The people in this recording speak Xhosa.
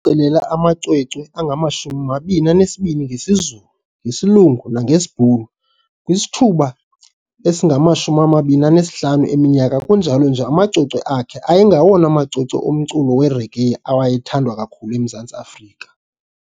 cilela amacwecwe angama-22 ngesiZulu, ngesiLungu nangesiBhulu kwisithuba esinganga-25 eminyaka kunjalo nje amacwecwe akhe ayengwawona macwecwe omculo wereggae awayethengiswa kakhulu eMzantsi Afrika.